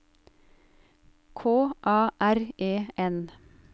K A R E N